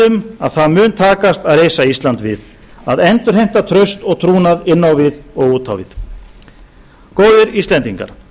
um að það mun takast að reisa ísland við að endurheimta traust og trúnað inn á við og út á við góðir íslendingar